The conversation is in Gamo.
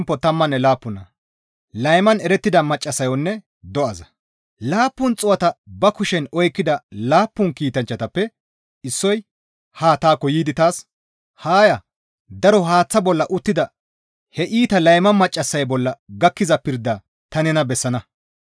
Laappun xuu7ata ba kushen oykkida laappun kiitanchchatappe issoy haa taakko yiidi taas, «Haa ya; daro haaththata bolla uttida he iita layma maccassay bolla gakkiza pirda ta nena bessana.